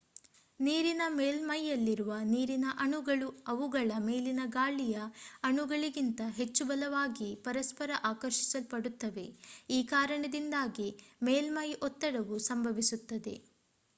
ನೀರಿನ ಮೇಲ್ಮೈಯಲ್ಲಿರುವ ನೀರಿನ ಅಣುಗಳು ಅವುಗಳ ಮೇಲಿನ ಗಾಳಿಯ ಅಣುಗಳಿಗಿಂತ ಹೆಚ್ಚು ಬಲವಾಗಿ ಪರಸ್ಪರ ಆಕರ್ಷಿಸಲ್ಪಡುತ್ತವೆ ಈ ಕಾರಣದಿಂದಾಗಿ ಮೇಲ್ಮೈ ಒತ್ತಡವು ಸಂಭವಿಸುತ್ತದೆ